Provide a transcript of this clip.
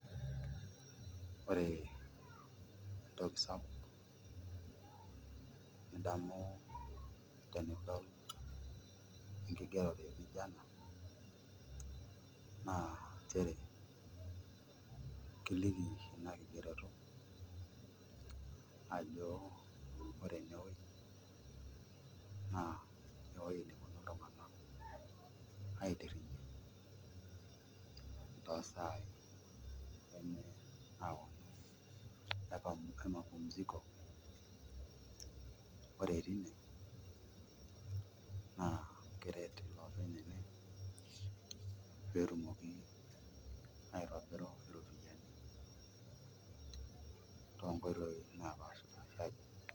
Ore entoki sapuk nidamu tenidol enkigeore nijio e na naa nchere kiliki ina kigeroto ajo ore enewueji naa ewueji neponu iltung'anak aitirring'ie toosaai emapumziko ore tine naa keret iloopeny ene pee etumoki aitobiru iropiyiani toonkoitoi naapashari.